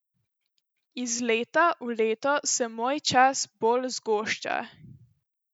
Iz leta v leto se moj čas bolj zgošča.